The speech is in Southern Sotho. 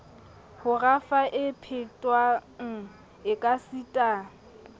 ho rafa e phethwang ekasita